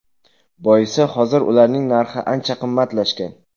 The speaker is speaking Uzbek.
Boisi hozir ularning narxi ancha qimmatlashgan.